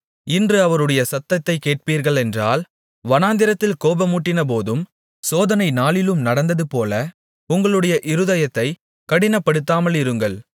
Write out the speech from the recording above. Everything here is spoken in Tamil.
இன்று அவருடைய சத்தத்தைக் கேட்பீர்களென்றால் வனாந்திரத்தில் கோபம் மூட்டினபோதும் சோதனை நாளிலும் நடந்ததுபோல உங்களுடைய இருதயத்தைக் கடினப்படுத்தாமலிருங்கள்